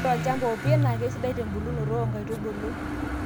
Ore olchamba opie naa keisidai tembulunoto oo nkaitubulu.